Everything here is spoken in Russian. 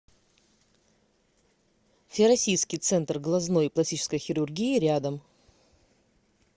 всероссийский центр глазной и пластической хирургии рядом